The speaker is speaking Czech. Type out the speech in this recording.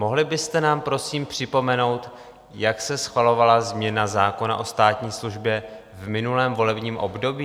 Mohli byste nám, prosím, připomenout, jak se schvalovala změna zákona o státní službě v minulém volebním období?